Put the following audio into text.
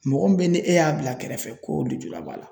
Mɔgɔ min be ye ne e y'a bila kɛrɛfɛ ko lujura b'a la